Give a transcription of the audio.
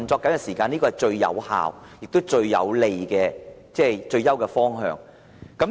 這是最有效、最有利及最佳的方向。